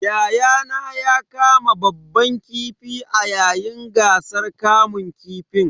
Yayana ya kama babban kifi a yayin gasar kamun kifin.